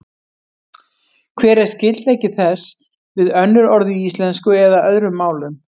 Hver er skyldleiki þess við önnur orð í íslensku eða öðrum málum?